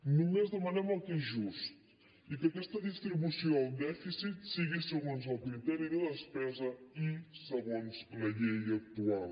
només demanem el que és just i que aquesta distribució el dèficit sigui segons el criteri de despesa i segons la llei actual